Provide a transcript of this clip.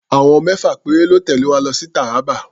Àwọn mẹ́fà péré lọ́ tẹ̀lé wa lọ sí Taraba.